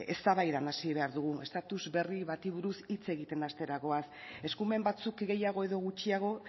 eztabaidan hasi behar dugu estatus berri bati buruz hitz egiten hastera goaz eskumen batzuk gehiago edo gutxiago